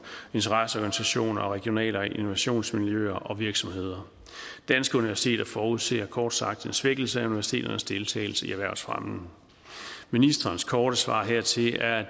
interesseorganisationer og regionale innovationsmiljøer og virksomheder danske universiteter forudser kort sagt en svækkelse af universiteternes deltagelse i erhvervsfremmen ministerens korte svar hertil er